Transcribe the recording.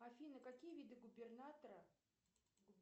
афина какие виды губернатора